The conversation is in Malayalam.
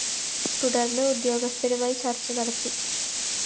തുടര്‍ന്ന് ഉദ്യോഗസ്ഥരുമായി ചര്‍ച്ച നടത്തി